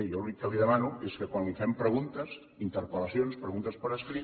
jo l’únic que li demano és que quan li fem preguntes interpel·lacions preguntes per escrit